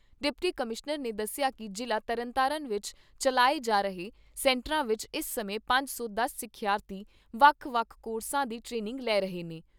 Deputy commissioner ਨੇ ਦੱਸਿਆ ਕਿ ਜ਼ਿਲ੍ਹਾ ਤਰਨਤਾਰਨ ਵਿੱਚ ਚੱਲਾਏ ਜਾ ਰਹੇ ਸੈਂਟਰਾਂ ਵਿੱਚ ਇਸ ਸਮੇਂ ਪੰਜ ਸੌ ਦਸ ਸਿੱਖਿਆਰਥੀ ਵੱਖ ਵੱਖ ਕੋਰਸਾਂ ਦੀ ਟਰੇਨਿੰਗ ਲੈ ਰਹੇ ਨੇ।